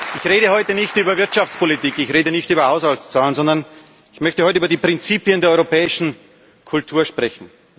Ich rede heute nicht über Wirtschaftspolitik, ich rede nicht über Haushaltszahlen, sondern ich möchte heute über die Prinzipien der europäischen Kultur sprechen.